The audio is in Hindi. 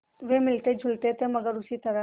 वे मिलतेजुलते थे मगर उसी तरह